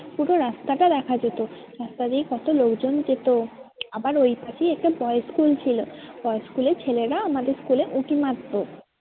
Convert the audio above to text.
পুরো রাস্তাটা দেখা যেত রাস্তা দিয়ে কত লোকজন যেত আবার ওইপাশেই একটা boys school ছিল boys school এর ছেলেরা আমাদের school এ উঁকি মারতো